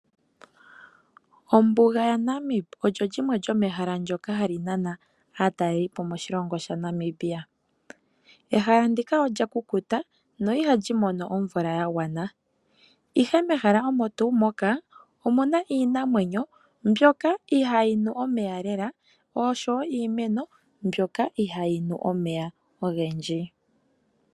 Ombuga yaNamib olyo limwe lyomehala ndyoka ha li nana aatalelipo moshilongo shaNamibia. Ehala ndika olya kukuta na iha li mono omvula ya gwana. Ihe mehala omo tuu moka, omu na iinamwenyo mbyoka ihayi nu omeya lela osho wo iimeno mbyoka ihayi nu omeya ogendji.